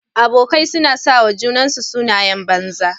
Abokai suna sawa junansu sunayen banza.